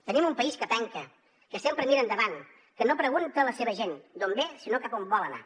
tenim un país que penca que sempre mira endavant que no pregunta a la seva gent d’on ve sinó cap on vol anar